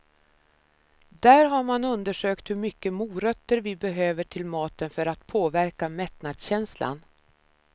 Där har man undersökt hur mycket morötter vi behöver till maten för att påverka mättnadskänslan.